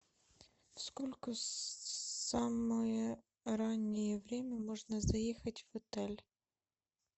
сколько самое раннее время можно заехать в отель